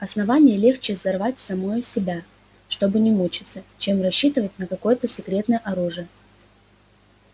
основание легче взорвать самое себя чтобы не мучиться чем рассчитывать на какое-то секретное оружие